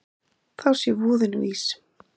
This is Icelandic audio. Þá sé voðinn vís.